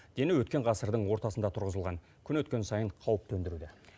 дені өткен ғасырдың ортасында тұрғызылған күн өткен сайын қауіп төндіруде